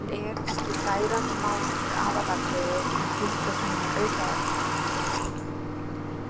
En er ekki kæran í málinu aðalatriðið en tildrög hennar aukaatriði?